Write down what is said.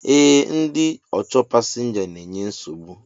E, ndị ọchọ pasinja n'enye nsogbu